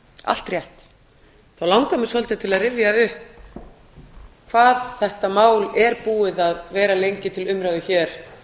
allt rétt þá langar mig svolítið til að rifja upp hvað þetta mál er búið að vera lengi til umræðu hér